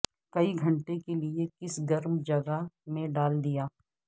کئی گھنٹے کے لئے کسی گرم جگہ میں ڈال دیا